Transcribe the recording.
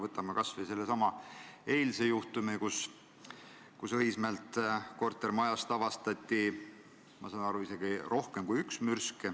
Võtame kas või selle eilse juhtumi, kui Õismäelt kortermajast avastati, ma saan aru, et isegi rohkem kui üks mürsk.